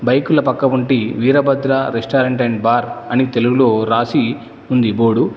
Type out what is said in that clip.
బైకుల పక్కగుంటి Veerabhadra restaurant and bar అని తెలుగులో రాసి ఉంది బోర్డు .